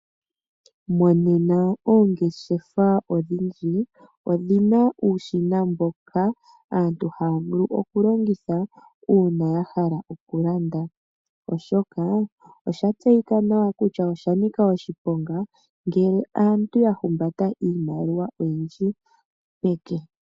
Monena oongeshefa odhindji odhina uushina mboka aantu haya vulu okulongitha uuna ya hala okulanda, oshoka osha tseyika nawa kutya oshanika oshiponga ngele aantu ya humbata iimaliwa oyindji peke.